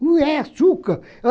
Não é açúcar!